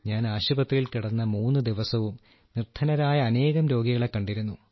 ഞാൻ ആശുപത്രിയിൽ കിടന്ന മൂന്നു ദിവസവും നിർദ്ധനരായ അനേകം രോഗികളെ കണ്ടിരുന്നു